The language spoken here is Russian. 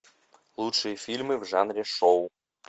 лучшие фильмы в жанре шоу